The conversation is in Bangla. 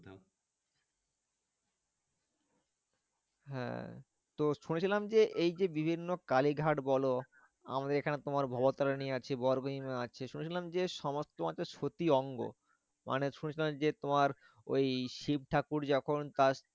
হ্যাঁ তো শুনেছিলাম যে, এই যে বিভিন্ন কালীঘাট বলো, আমাদের এখানে তোমার ভবতারিণী আছে, গর্বহীনা আছে শুনেছিলাম যে সমস্ত আরকি সতীর অঙ্গ। মানে শুনেছিলাম যে তোমার ওই শিব ঠাকুর যখন তার